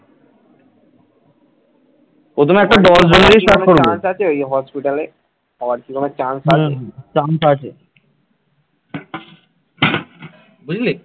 বুঝলি